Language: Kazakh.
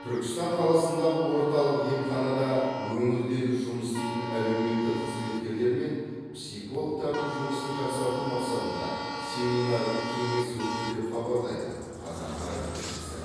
түркістан қаласындағы орталық емханада өңірдегі жұмыс істейтін әлеуметтік қызметкерлер мен психологтардың жұмысын жақсарту мақсатында семинар кеңес өтті деп хабарлайды қазақпарат тілшісі